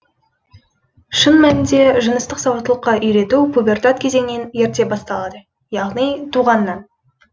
шын мәнінде жыныстық сауаттылыққа үйдету пубертат кезеңінен ерте басталады яғни туғанынан